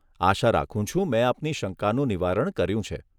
આશા રાખું છું મેં આપની શંકાનું નિવારણ કર્યું છે.